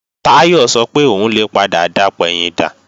Táyọ̀ sọ pé òun lè padà dapẹ̀yìndà